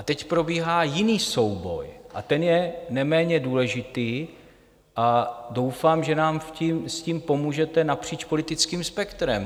A teď probíhá jiný souboj, a ten je neméně důležitý, a doufám, že nám s tím pomůžete napříč politickým spektrem.